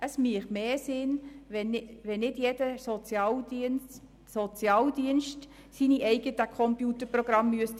Es wäre sinnvoller, wenn nicht jeder Sozialdienst seine eigenen Computerprogramme kaufen müsste.